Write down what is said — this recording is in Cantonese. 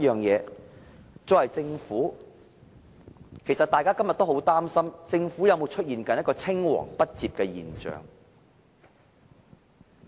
大家今天是否都很擔心政府會出現青黃不接的現象？